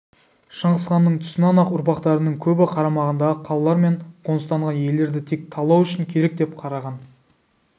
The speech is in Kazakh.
шыңғысханның тұсынан-ақ ұрпақтарының көбі қарамағындағы қалалар мен қоныстанған елдерді тек талау үшін керек деп қараған